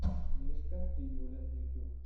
мишка и юля ютьюб